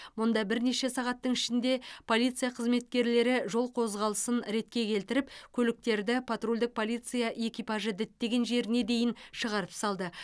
мұнда бірнеше сағаттың ішінде полиция қызметкерлері жол қозғалысын ретке келтіріп көліктерді патрульдік полиция экипажы діттеген жеріне де дейін шығарып салды